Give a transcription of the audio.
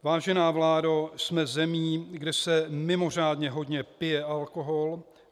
Vážená vládo, jsme zemí, kde se mimořádně hodně pije alkohol.